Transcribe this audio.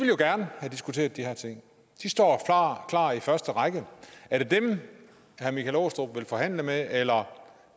jo gerne diskutere de her ting de står klar i første række er det dem herre michael aastrup jensen vil forhandle med eller